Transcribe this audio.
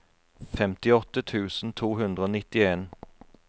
femtiåtte tusen to hundre og nittien